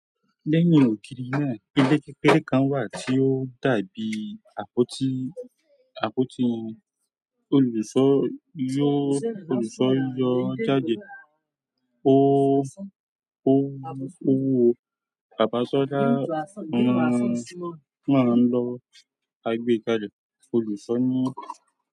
Lẹ́yìn ògiri náà, ilé kékeré kan wà tí ó dàbí àpótí, àpótí olùṣọ́ yó, olùṣọ́ yọ jáde, ó, ó, ó wo, bàbá ṣọlá máa ń lọ agbẹ́kàlé olùṣọ́ ní.